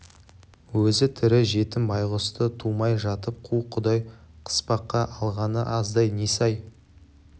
өзі тірі жетім байғұсты тумай жатып қу құдай қыспаққа алғаны аздай несі-ай